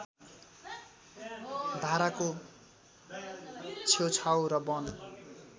धाराको छेउछाउ र वन